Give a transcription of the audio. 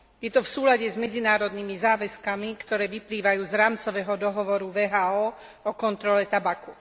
Je to v súlade s medzinárodnými záväzkami, ktoré vyplývajú z Rámcového dohovoru WHO o kontrole tabaku.